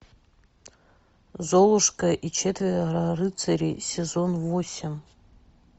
золушка и четверо рыцарей сезон восемь